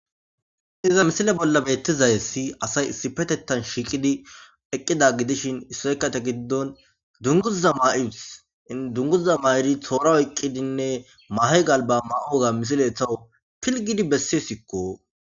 Iza misile bolla betizayessi asay issi petettan shiiqidi eqqida gidishin issoyka ta giddon dunguza ma'iwus in dunguzza ma'iri toora oyqqidinne mahy galba ma'uwoga misile etowo pilgidi besse sikko